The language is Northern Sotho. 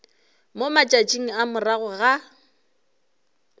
mo matšatšing a morago ga